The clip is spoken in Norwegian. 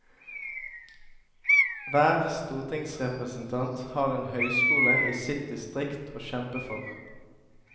Hver stortingsrepresentant har en høyskole i sitt distrikt å kjempe for.